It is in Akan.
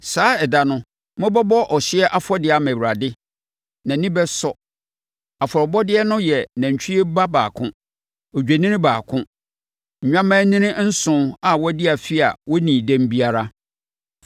Saa ɛda no, mobɛbɔ ɔhyeɛ afɔdeɛ ama Awurade—nʼani bɛsɔ. Afɔrebɔdeɛ no yɛ nantwie ba baako, odwennini baako, nnwammaanini nson a wɔadi afe a wɔnnii dɛm biara.